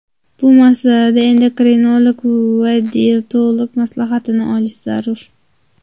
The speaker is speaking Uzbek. Bu masalada endokrinolog va diyetolog maslahatini olish zarur.